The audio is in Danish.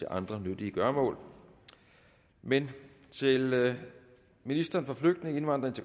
andre nyttige gøremål men til ministeren for flygtninge indvandrere